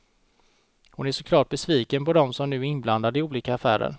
Hon är så klart besviken på dem som nu är inblandade i olika affärer.